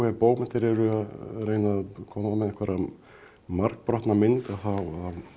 bókmenntir eru að reyna að koma með einhverja margbrotna mynd að þá